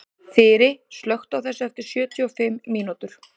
Þyri, slökktu á þessu eftir sjötíu og fimm mínútur.